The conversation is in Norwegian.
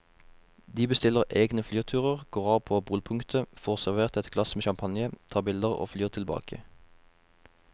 De bestiller egne flyturer, går av på polpunktet, får servert et glass med champagne, tar bilder og flyr tilbake.